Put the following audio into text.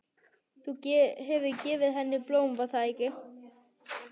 Þú hefur gefið henni blóm, var það ekki?